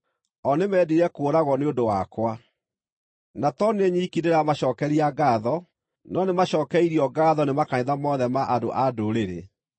O nĩmendire kũũragwo nĩ ũndũ wakwa. Na to niĩ nyiki ndĩramacookeria ngaatho, no nĩmacookeirio ngaatho nĩ makanitha mothe ma andũ-a-Ndũrĩrĩ.